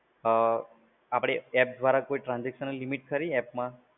અમ આપડે એપ્પ દ્વારા કોઈ transaction limit ખરી એપમાં?